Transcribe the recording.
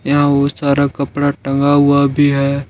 सारा कपड़ा टंगा हुआ भी है।